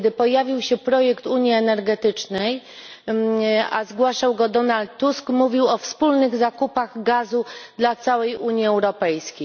Kiedy pojawił się projekt unii energetycznej, a zgłaszał go Donald Tusk, który mówił o wspólnych zakupach gazu dla całej Unii Europejskiej.